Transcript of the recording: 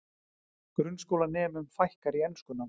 Grunnskólanemum fækkar í enskunámi